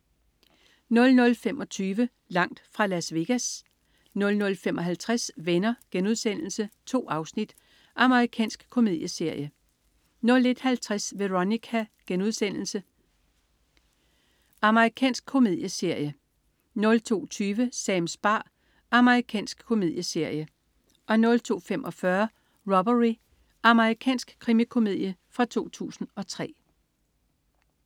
00.25 Langt fra Las Vegas 00.55 Venner.* 2 afsnit. Amerikansk komedieserie 01.50 Veronica.* Amerikansk komedieserie 02.20 Sams bar. Amerikansk komedieserie 02.45 Robbery. Amerikansk krimikomedie fra 2003